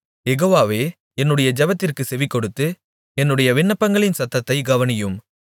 யெகோவாவே என்னுடைய ஜெபத்திற்குச் செவிகொடுத்து என்னுடைய விண்ணப்பங்களின் சத்தத்தைத் கவனியும்